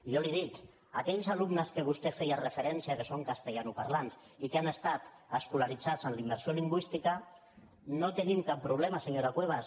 jo li ho dic aquells alumnes a què vostè feia referència que swón castellanoparlants i que han estat escolaritzats en la immersió lingüística no tenim cap problema senyora cuevas